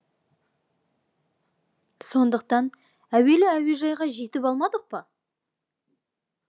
сондықтан әуелі әуежайға жетіп алмадық па